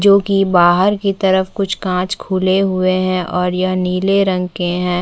जो की बाहर की तरफ कुछ कांच खुले हुए है और यह नीले रंग के है।